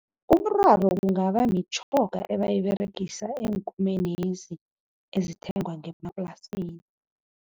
Umraro kungaba mitjhoga abayiberegisa eenkomeni ezithengwa ngemaplasini.